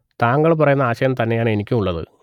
താങ്കൾ പറയുന്ന ആശയം തന്നെയാണ് എനിക്കും ഉള്ളത്